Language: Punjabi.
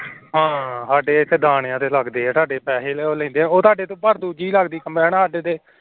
ਹਾਂ, ਹਾਡੇ ਐਥੇ ਦਾਣੇਆਂ ਤੇ ਲੱਗਦੇ ਏ ਤੁਹਾਡੇ ਪੈਹੇ ਲੈਂਦੇ ਏ ਦੂਜੀ ਲੱਗਦੀ ਏ combine